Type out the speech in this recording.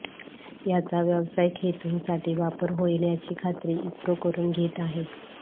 याचा व्यावसायिक हेतूंसाठी वापर होईल याची खात्री इस्रो करून घेत आहे